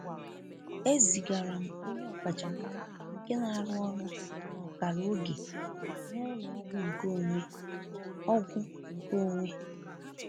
E zigara m onye ọkachamara nke na-arụ ọrụ n'ọkara oge n'ụlọ ọgwụ nkeonwe. ọgwụ nkeonwe.